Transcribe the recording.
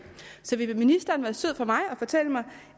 så vil ministeren være sød at fortælle mig